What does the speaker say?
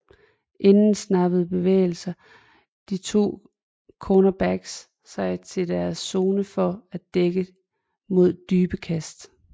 Inden snappet bevæger de to cornerbacks sig ind i deres zone for at dække mod dybe kast